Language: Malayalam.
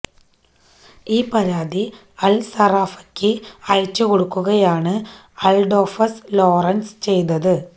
ഈ പരാതി അൽസറാഫയ്ക്ക് അയച്ചു കൊടുക്കുകയാണ് അഡോൾഫസ് ലോറൻസ് ചെയതത്